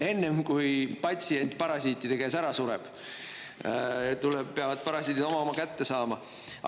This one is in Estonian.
Enne kui patsient parasiitide käes ära sureb, peavad parasiidid oma kätte saama.